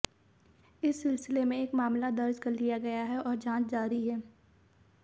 इस सिलसिले में एक मामला दर्ज कर लिया गया है और जांच जारी है